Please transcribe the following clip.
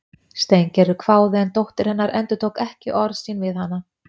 Steingerður hváði en dóttir hennar endurtók ekki orð sín við hana